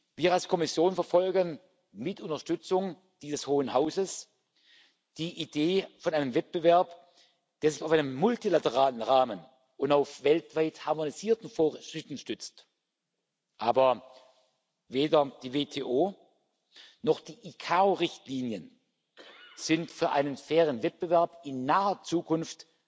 Wir als Kommission verfolgen mit Unterstützung dieses hohen Hauses die Idee von einem Wettbewerb, der sich auf einem multilateralen Rahmen und auf weltweit harmonisierten Vorschriften stützt, aber weder die WTO noch die ICAO-Richtlinien sind für einen fairen Wettbewerb in naher Zukunft